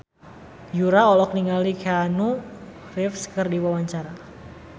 Yura olohok ningali Keanu Reeves keur diwawancara